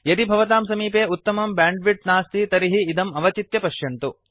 यदि भवतां समीपे उत्तमं ब्यांड्विड्त् नास्ति तर्हि इदम् अवचित्य पश्यन्तु